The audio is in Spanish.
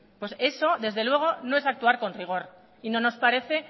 pues eso desde luego no es actuar con rigor y no nos parece